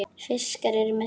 Fiskar eru með sporð.